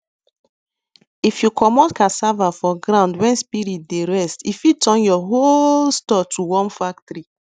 if you commot cassava for ground when spirit dey rest e fit turn your whole store to worm factory